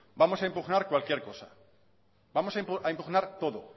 vamos a impugnar cualquier cosa vamos a impugnar todo